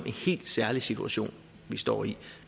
helt særlig situation vi står i